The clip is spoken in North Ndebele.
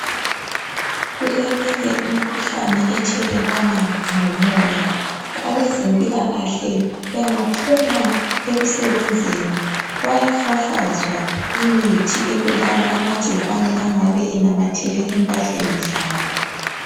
Kuleminye imikhuhlane ethelelwana ngomoya abezempilakahle bengaphuma ekusebenzeni bayafafazwa imithi ebulala lamagcikwane angabe enamathele empahleni zabo